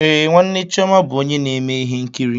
Ee, nwanne chioma bụ onye na-eme ihe nkiri.